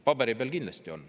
Paberi peal kindlasti on.